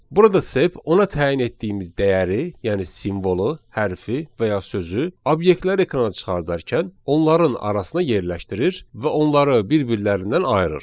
Burada sep ona təyin etdiyimiz dəyəri, yəni simvolu, hərfi və ya sözü, obyektləri ekrana çıxardarkən onların arasına yerləşdirir və onları bir-birlərindən ayırır.